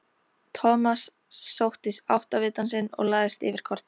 Thomas sótti áttavitann sinn og lagðist yfir kortið.